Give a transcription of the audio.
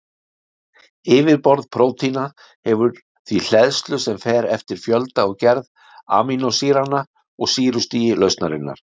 Yfirborð prótína hefur því hleðslu sem fer eftir fjölda og gerð amínósýranna og sýrustigi lausnarinnar.